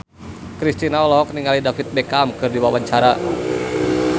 Kristina olohok ningali David Beckham keur diwawancara